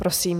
Prosím.